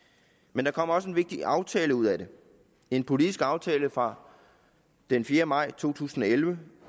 men der kom også en vigtig aftale ud af det en politisk aftale fra den fjerde maj to tusind og elleve